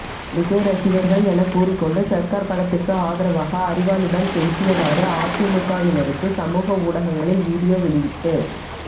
விஜய் ரசிகர்கள் எனக்கூறிக்கொண்டு சர்கார் படத்திற்கு ஆதரவாக அரிவாளுடன் பேசியவாறு அதிமுகவினருக்கு சமூக ஊடகங்களில் வீடியோ வெளியிட்டு